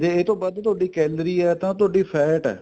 ਇਹ ਤੋਂ ਵੱਧ ਤੁਹਾਡੀ calorie ਏ ਤਾਂ ਤੁਹਾਡੀ fat ਏ